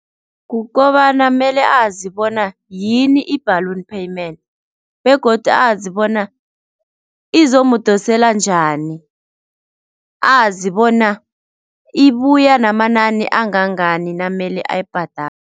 Kukobana mele azi bona yini i-balloon payment begodu azi bona izomudosela njani, azi bona ibuya namanani angangani namele ayibhadale.